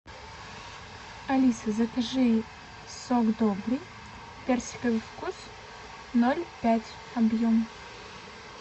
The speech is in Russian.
алиса закажи сок добрый персиковый вкус ноль пять объем